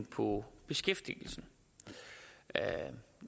på beskæftigelsen